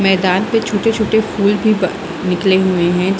मैदान पे छोटे-छोटे फूल भी ब निकले हुए है।